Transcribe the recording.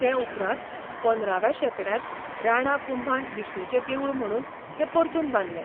ते उपरांत पंदराव्या शेंकड्यांत राणा कुंभान विष्णुचें देवूळ म्हणून तें परतून बांदलें.